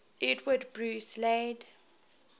edward bruce laid